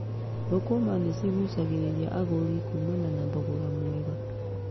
Thũkũma nĩcigucagĩrĩria agũri kuumana na thogora mwega.